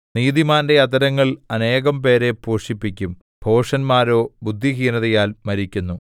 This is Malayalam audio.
നീതിമാന്റെ അധരങ്ങൾ അനേകം പേരെ പോഷിപ്പിക്കും ഭോഷന്മാരോ ബുദ്ധിഹീനതയാൽ മരിക്കുന്നു